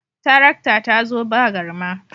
Tarakta ta zo ba garma